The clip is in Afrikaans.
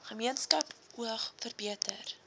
gemeenskap oag verbeter